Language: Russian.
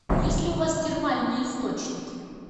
есть ли у вас термальные источники